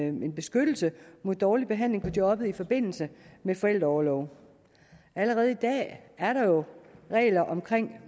en beskyttelse mod dårlig behandling på jobbet i forbindelse med forældreorlov allerede i dag er der jo regler om